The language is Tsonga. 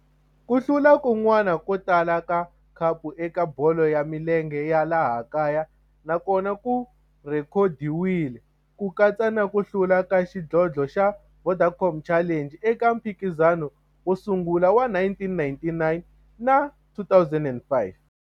Ku hlula kun'wana ko tala ka khapu eka bolo ya milenge ya laha kaya na kona ku rhekhodiwile, ku katsa na ku hlula ka xidlodlo xa Vodacom Challenge eka mphikizano wo sungula wa 1999 na 2005.